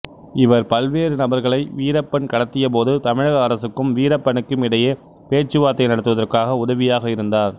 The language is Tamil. இவர் பல்வேறு நபர்களை வீரப்பன் கடத்திய போது தமிழக அரசுக்கும் வீரப்பனுக்கும் இடையே பேச்சுவார்த்தை நடத்துவதற்கு உதவியாக இருந்தார்